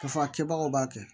K'a fɔ a kɛbagaw b'a kɛ